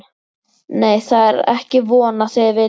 Nei, það er ekki von að þið vitið það.